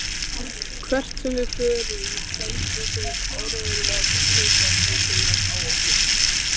Hvert sem við förum senda þeir áreiðanlega víkingasveitirnar á okkur.